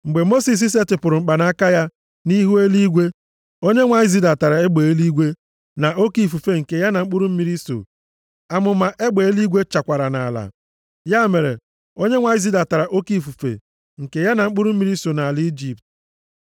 Mgbe Mosis setịpụrụ mkpanaka ya nʼihu eluigwe, Onyenwe anyị zidatara egbe eluigwe na oke ifufe nke ya na mkpụrụ mmiri so. Amụma egbe eluigwe chakwara nʼala. Ya mere, Onyenwe anyị zidatara oke ifufe nke ya na mkpụrụ mmiri so nʼala Ijipt.